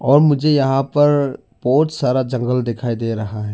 और मुझे यहां पर बहुत सारा जंगल दिखाई दे रहा है।